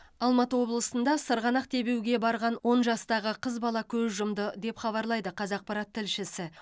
алматы облысында сырғанақ тебуге барған он жастағы қыз бала көз жұмды деп хабарлайды қазақпарат тілшісі